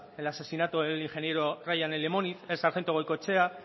el asesinato del ingeniero ryan en lemoniz el sargento goikoetxea